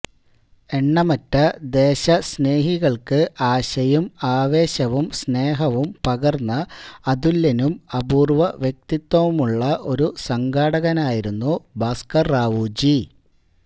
എണ്ണമറ്റ ദേശസ്നേഹികള്ക്ക് ആശയും ആവേശവും സ്നേഹവും പകര്ന്ന അതുല്യനും അപൂര്വവ്യക്തിത്വവുമുള്ള ഒരു സംഘാടകനായിരുന്നു ഭാസ്കര്റാവുജി